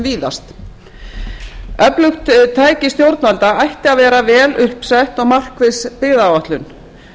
víðast öflugt tæki stjórnvalda ætti að vera vel upp sett og markviss byggðaáætlun